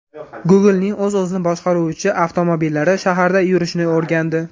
Google’ning o‘z-o‘zini boshqaruvchi avtomobillari shaharda yurishni o‘rgandi.